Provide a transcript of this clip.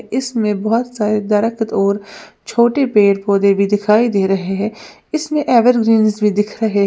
इसमें बहुत सारे और छोटे पेड़ पौधे भी दिखाई दे रहे हैं इसमें एवरग्रीनस भी दिख रहा है।